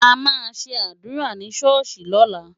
A máa ṣe àdúrà ni ṣọ́ọ̀ṣì lọ́la.